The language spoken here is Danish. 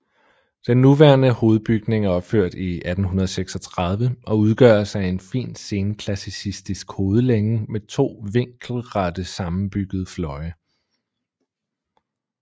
Den nuværende hovedbygning er opført i 1836 og udgøres af en fin senklassicistisk hovedlænge med to vinkrelrette sammenbyggede fløje